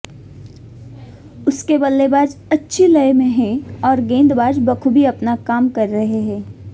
उसके बल्लेबाज अच्छी लय में हैं और गेंदबाज बखूबी अपना काम कर रहे हैं